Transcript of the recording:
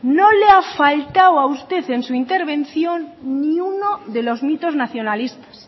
no le ha faltado a usted en su intervención ni uno de los mitos nacionalistas